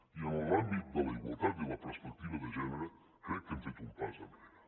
i en l’àmbit de la igualtat i la perspectiva de gènere crec que hem fet un pas enrere